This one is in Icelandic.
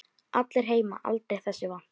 Allir heima aldrei þessu vant.